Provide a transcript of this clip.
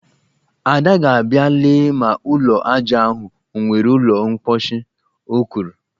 Ada ga-abịa lee ma ụlọ ajá ahụ o nwere ụlọ mkposhi, o kwuru